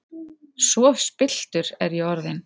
Svo spilltur er ég orðinn!